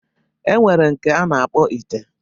E nwere nke a na-akpọ ite.